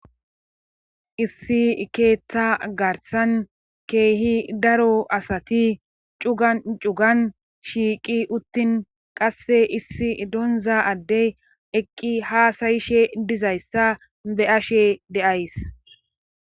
issi keeththa garsan keehi daro asati cugan cugan shiiqi uttin qasse issi donza addey eqqi haasayishe dizayssa be ashe deays